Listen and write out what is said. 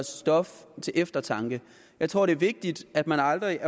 stof til eftertanke jeg tror det er vigtigt at man aldrig